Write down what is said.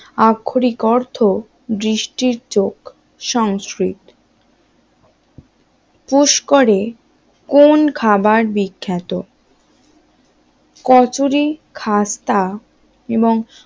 আক্ষরিক অর্থ দৃষ্টির চোখ সংস্কৃত পুস্করের কোন খাবার বিখ্যাত? কচুরি খাস্তা এবং